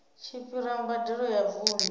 tshi fhira mbadelo ya vundu